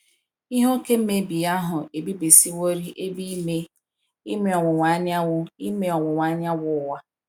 Ihe oke mmebi ahụ ebibisịworị Ebe Ime Ime Ọwuwa Anyanwụ Ime Ọwuwa Anyanwụ Ụwa.